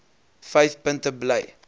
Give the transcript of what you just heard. vyf punte bly